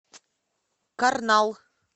карнал